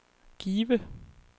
Give